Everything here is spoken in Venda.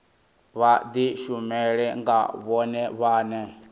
vha dishumele nga vhone vhane